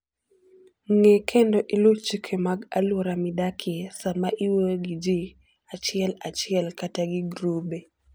Ng'e kendo iluw chike mag alwora midakie sama iwuoyo gi ji achiel achiel kata gi grube.